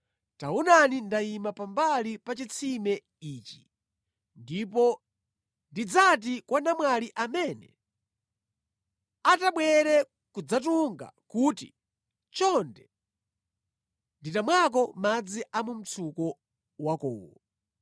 taonani ndayima pambali pa chitsime ichi; ndipo ndidzati kwa namwali amene atabwere kudzatunga kuti, chonde nditamwako madzi a mu mtsuko wakowu,’